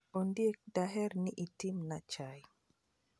Ondiek, daher ni itimna chai.